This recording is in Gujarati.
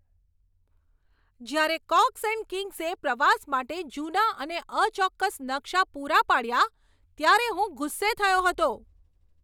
જ્યારે કોક્સ એન્ડ કિંગ્સે પ્રવાસ માટે જૂના અને અચોક્કસ નકશા પૂરા પાડ્યા, ત્યારે હું ગુસ્સે થયો હતો.